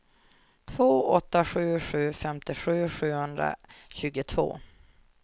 två åtta sju sju femtiosju sjuhundratjugotvå